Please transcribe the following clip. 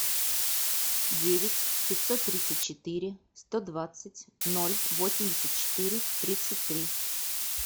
девять пятьсот тридцать четыре сто двадцать ноль восемьдесят четыре тридцать три